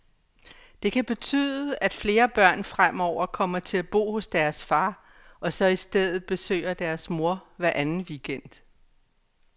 Det kan betyde, at flere børn fremover kommer til at bo hos deres far, og så i stedet besøger deres mor hver anden weekend.